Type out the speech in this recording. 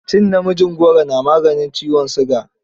Cin namijin goro na maganin ciwon siga.